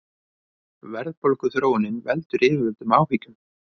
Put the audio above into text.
Verðbólguþróunin veldur yfirvöldum áhyggjum